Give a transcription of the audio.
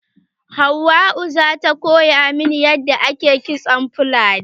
Hauwau za ta koya min yadda ake kitson fulani.